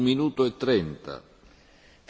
Herr Präsident, Herr Kommissar!